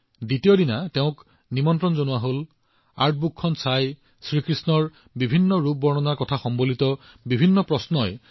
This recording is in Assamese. পিছদিনা মই তেওঁক লগ কৰিবলৈ ফোন কৰিছিলো আৰু কিতাপখন চাই শ্ৰী কৃষ্ণৰ বিভিন্ন ৰূপ চাই মোৰ কৌতূহল এনেদৰে বৃদ্ধি হৈছিল